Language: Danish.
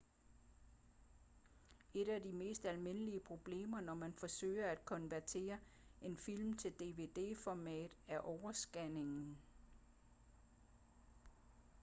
et af de mest almindelige problemer når man forsøger at konvertere en film til dvd-format er overscanning